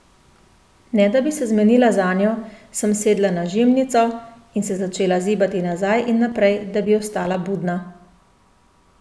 Ne da bi se zmenila zanjo, sem sedla na žimnico in se začela zibati nazaj in naprej, da bi ostala budna.